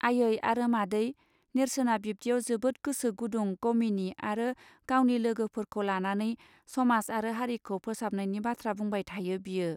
आइयै आरो मादै नेर्सोनआ बिब्दियाव जोबोद गोसो गुदुं गमिनि आरो गावनि लोगो फोरखौ लानानै समाज आरो हारिखौ फोसाबनायनि बाथ्रा बुंबाय थायो बियो.